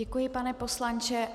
Děkuji, pane poslanče.